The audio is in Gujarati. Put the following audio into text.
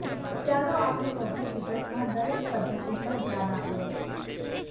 ચાલો આપણે વધુ વિગતમાં દરેક પદ્ધતિ પર ધ્યાન આપીએ